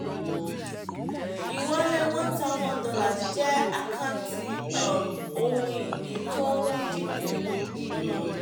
ìwọlé one thousand dollars jẹ́ àkáǹtí um ohun ìní tó ń dínkù. um